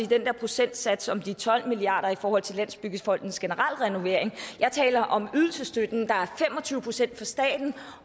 den der procentsats om de tolv milliard kroner i forhold til landsbyggefondens generelle renovering jeg taler om ydelsesstøtten der er fem og tyve procent fra staten